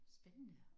Spændende